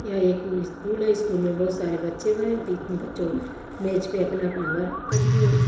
यह एक स्कूल है स्कूल में बहुत सारे बच्चे हैं बच्चों मेज पे अपना-अपना वर्क कम्प--